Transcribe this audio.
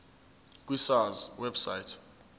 ku sars website